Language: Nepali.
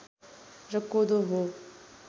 र कोदो हो